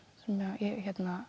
sem ég